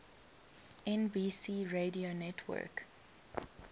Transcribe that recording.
nbc radio network